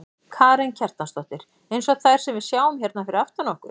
Karen Kjartansdóttir: Eins og þær sem við sjáum hérna fyrir aftan okkur?